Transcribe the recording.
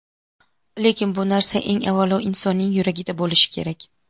Lekin bu narsa eng avvalo insonning yuragida bo‘lishi kerak.